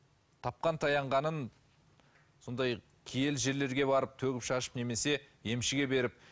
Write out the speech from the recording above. тапқан таянғанын сондай киелі жерлерге барып төгіп шашып немесе емшіге беріп